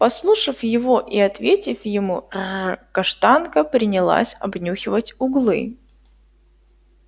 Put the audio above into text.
послушав его и ответив ему рр каштанка принялась обнюхивать углы